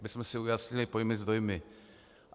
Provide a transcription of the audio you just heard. Abychom si ujasnili pojmy s dojmy.